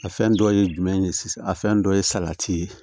A fɛn dɔ ye jumɛn ye sisan a fɛn dɔ ye salati ye